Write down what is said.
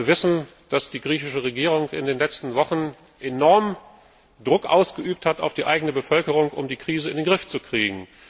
Wir alle wissen, dass die griechische Regierung in den letzten Wochen enormen Druck auf die eigene Bevölkerung ausgeübt hat, um die Krise in den Griff zu kriegen.